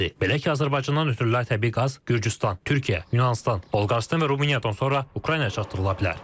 Belə ki, Azərbaycandan ötürülən təbii qaz Gürcüstan, Türkiyə, Yunanıstan, Bolqarıstan və Rumıniyadan sonra Ukraynaya çatdırıla bilər.